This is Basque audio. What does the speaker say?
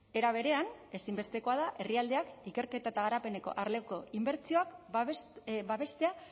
era berean ezinbestekoa da herrialdeak ikerketa eta garapeneko arloko inbertsioak babestea